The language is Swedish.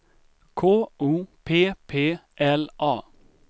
K O P P L A